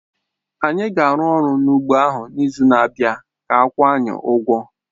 Anyị ga-arụ ọrụ n'ugbọ ahụ n'izu na-abịa ka a kwụọ anyị ụgwọ